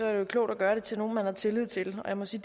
er det klogt at gøre det til nogle man har tillid til og jeg må sige